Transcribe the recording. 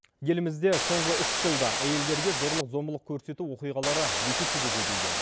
елімізде соңғы үш жылда әйелдерге зорлық зомбылық көрсету оқиғалары екі есеге көбейген